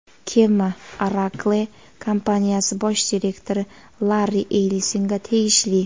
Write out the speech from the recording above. Kema Oracle kompaniyasi bosh direktori Larri Ellisonga tegishli.